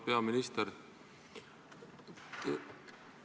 Auväärt peaminister!